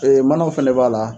manaw fɛnɛ b'a la